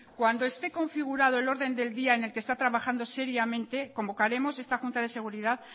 cuando esté configurado el orden del día en el que está trabajando seriamente convocaremos esta junta de seguridad